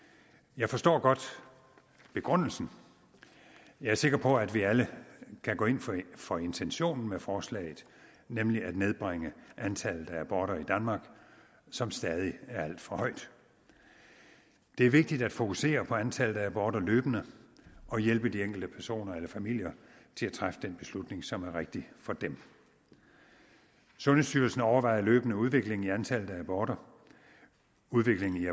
jeg forstår godt begrundelsen jeg er sikker på at vi alle kan gå ind for intentionen med forslaget nemlig at nedbringe antallet af aborter i danmark som stadig er alt for højt det er vigtigt at fokusere på antallet af aborter løbende og hjælpe de enkelte personer eller familier til at træffe den beslutning som er rigtig for dem sundhedsstyrelsen overvåger løbende udviklingen i antallet af aborter udviklingen